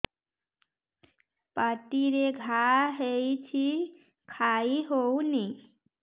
ପାଟିରେ ଘା ହେଇଛି ଖାଇ ହଉନି